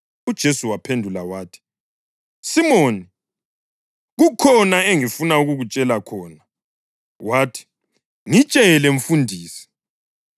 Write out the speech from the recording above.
UJesu wamphendula wathi, “Simoni, kukhona engifuna ukukutshela khona.” Wathi, “Ngitshela, mfundisi.”